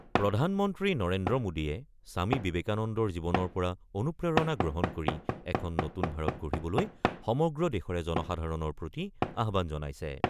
প্ৰধানমন্ত্ৰী নৰেন্দ্ৰ মোডীয়ে স্বামী বিবেকানন্দৰ জীৱনৰ পৰা অনুপ্ৰেৰণা গ্ৰহণ কৰি এখন নতুন ভাৰত গঢ়িবলৈ সমগ্ৰ দেশৰে জনসাধাৰণৰ প্ৰতি আহ্বান জনাইছে।